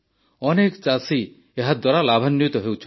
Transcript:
ଅନେକ ଚାଷୀ ଏହାଦ୍ୱାରା ଲାଭାନ୍ୱିତ ହେଉଛନ୍ତି